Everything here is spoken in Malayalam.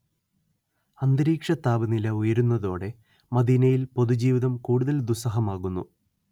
അന്തരീക്ഷതാപനില ഉയരുന്നതോടെ മദീനയിൽ പൊതുജീവിതം കുടുതൽ ദുസ്സഹമാകുന്നു